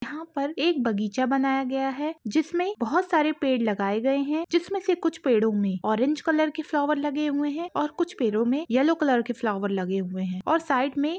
यहाँ पर एक बगीचा बनाया गया है जिसमे बहुत सारे पेड़ लगाए गए है जिसमे से कुछ पेड़ो में ऑरेंज कलर के फ्लावर लगे हुए है और कुछ पेड़ो येलो कलर के फ्लावर लगे हुए है और साइड में--